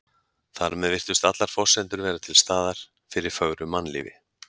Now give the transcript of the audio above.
Þar með virtust allar forsendur vera til staðar fyrir fögru mannlífi.